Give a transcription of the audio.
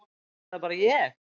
Er það bara ég.